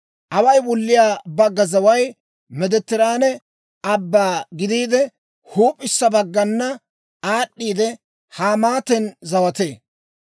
«Away wulliyaa bagga zaway Meediteraane Abbaa gidiide, huup'issa baggana aad'd'iide Hamaaten zawatee.